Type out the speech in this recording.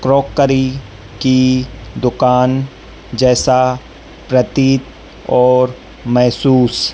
crockery की दुकान जैसा प्रतीत और मेहसूस--